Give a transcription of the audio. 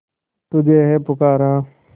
तुझे है पुकारा